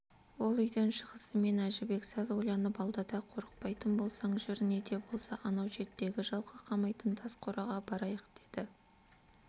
ол үйден шығысымен әжібек сәл ойланып алды да қорықпайтын болсаң жүр не де болса анау шеттегі жылқы қамайтын тас қораға барайық деді